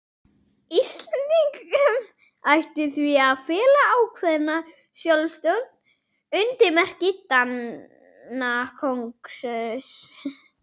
Íslendingum ætti því að fela ákveðna sjálfstjórn undir merki Danakonungs.